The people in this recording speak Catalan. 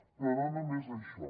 però no només això